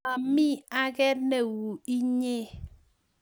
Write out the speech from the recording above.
Momi ake neuinye